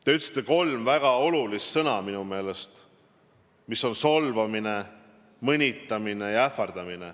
Te kasutasite kolme väga karmi sõna: minu meelest olid need "solvamine", "mõnitamine" ja "ähvardamine".